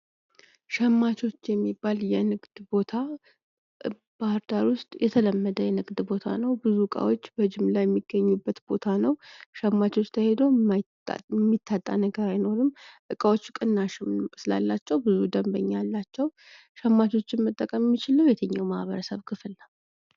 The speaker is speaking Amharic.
ሸማቾች የሚባል የንግድ ቦታ ባህር ዳር ውስጥ የተለመደ አይነት የንግድ ቦታ ነው ብዙ እቃዎች በጅምላ የሚገኙበት ቦታ ነው ሸማቾች ጋር ተሄዶ የሚታጣ ነገር አይኖርም እቃዎችን ቅናሽ ስላላቸው ብዙ ደንበኛ አላቸው። ሸማቾችን በብዛት የሚጠቀም የትኛው ማህበረሰብ ክፍል ነው።